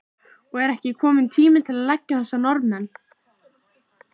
Og er ekki kominn tími til að leggja þessa Norðmenn?